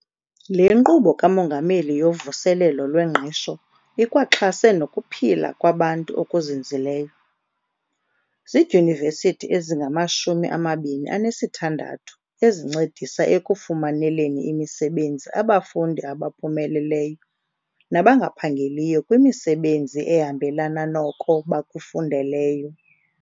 Le Nkqubo kaMongameli yoVuselelo lweNgqesho ikwaxhase nokuphila kwabantu okuzinzileyo. Zidyunivesithi ezingamashumi amabini anesithandathu ezincedisa ekufumaneleni imisebenzi abafundi abaphumeleleyo nabangaphangeliyo kwimisebenzi ehambelana noko bakufundeleyo.